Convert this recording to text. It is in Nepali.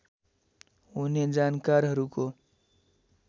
हुने जानकारहरूको